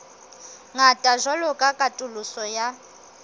ngata jwalo ka katoloso ya